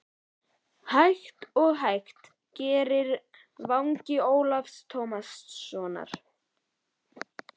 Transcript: Hægt og hægt greri vangi Ólafs Tómassonar.